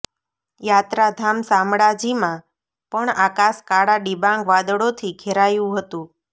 યાત્રાધામ શામળાજીમાં પણ આકાશ કાળા ડિબાંગ વાદળોથી ઘેરાયુ હતુ